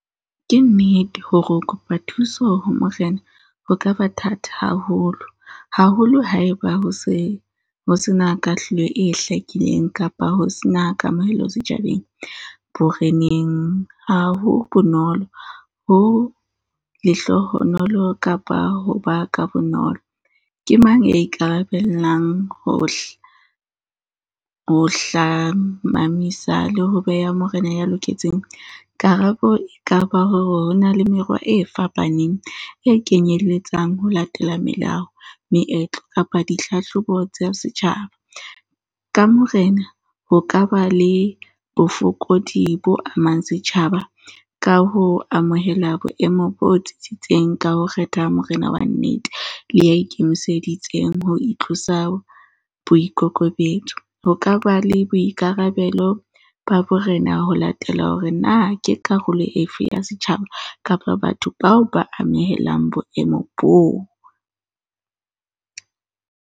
Ke nnete hore ho kopa thuso ho morena, ho ka ba thata haholo, haholo ha e ba ho se ho sena kahlolo e hlakileng kapa ho se na kamohelo setjhabeng. Boreneng ha ho bonolo, ho lehlohonolo kapa ho ba ka bonolo. Ke mang ya ikarabelang ho ho hlamamisa le ho beha morena ya loketseng, karabo e ka ba hore ho na le merwa e fapaneng e kenyelletsang ho latela melao, meetlo kapa dihlahlobo tsa setjhaba. Ka morena, ho ka ba le bofokodi bo amang setjhaba ka ho amohela boemo bo tsitsitseng, ka ho kgetha morena wa nnete le ya ikemiseditseng ho itlosa boikokobetso. Ho ka ba le boikarabelo ba borena ho latela hore na ke karolo efe ya setjhaba kapa batho bao ba amehelang boemo boo.